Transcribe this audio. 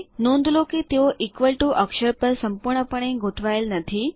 નોંધ લો કે તેઓ ઇક્વલ ટીઓ અક્ષર પર સંપૂર્ણપણે ગોઠવાયેલ નથી